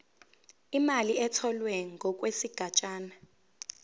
imali etholwe ngokwesigatshana